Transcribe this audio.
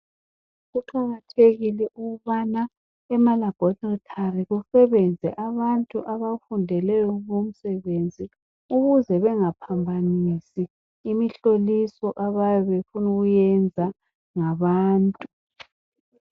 Kuqakathekile ukubana emalaboratory kusebenze abantu abafundeleyo umsebenzi ukuze bengaphambanisi imihloliso abayabe befunu kuyenza ngabantu .